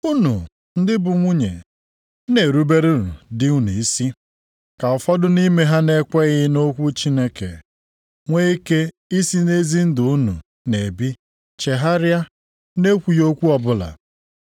Unu ndị bụ nwunye na-eruberenụ di unu isi, ka ụfọdụ nʼime ha na-ekweghị nʼokwu Chineke, nwee ike isi nʼezi ndụ unu na-ebi chegharịa nʼekwughị okwu ọbụla,